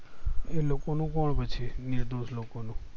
એ લોકો નું કોણ પછી નિર્દોષ લોકો નું